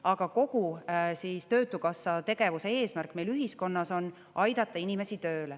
Aga kogu Töötukassa tegevuse eesmärk meil ühiskonnas on aidata inimesi tööle.